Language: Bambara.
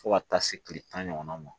Fo ka taa se kile tan ɲɔgɔn ma